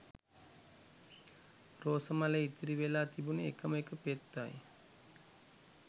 රෝස මලේ ඉතිරි වෙල‍ා තිබුණෙ එකම එක පෙත්තයි